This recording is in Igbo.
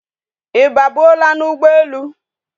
I ba buo la na ugbo elu?